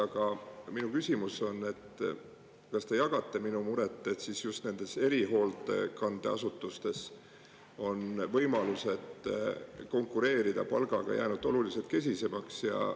Aga minu küsimus on: kas te jagate minu muret, et just nendes erihoolekandeasutustes on võimalused konkureerida palgaga jäänud oluliselt kesisemaks?